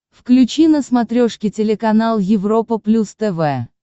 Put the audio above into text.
включи на смотрешке телеканал европа плюс тв